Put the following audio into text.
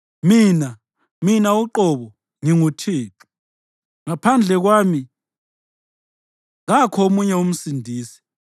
Mina, mina uqobo, nginguThixo, ngaphandle kwami kakho omunye umsindisi.